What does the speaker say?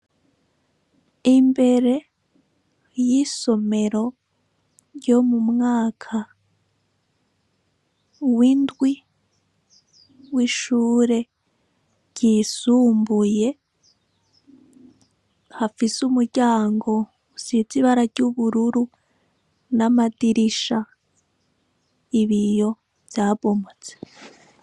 Imbere y'isomero ryo mu mwaka w'indwi w'ishure ryisumbuye hafise umuryango usize ibara ry'ubururu n'amadirisha, ibiyo vyabomotse.